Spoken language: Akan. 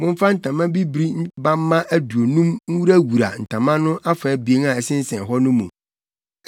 Momfa ntama bibiri bamma aduonum nwurawura ntama no afa abien a ɛsensɛn hɔ no mu.